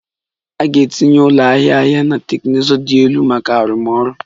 A ga-etinye ụlọ ahịa ahịa ahịa na teknụzụ dị elu maka arụmọrụ